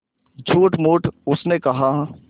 झूठमूठ उसने कहा